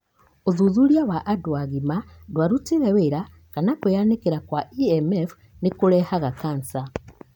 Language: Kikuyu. Ũthuthuria wa andũ agima ndwarutire wĩĩra kana kwĩyanĩkĩra kwa EMF nĩkũrehaga cancer.